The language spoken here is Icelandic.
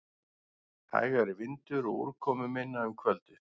Hægari vindur og úrkomuminna um kvöldið